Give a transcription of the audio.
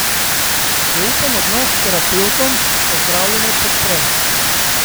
Zaupen odnos s terapevtom pa zdravljenje podpre.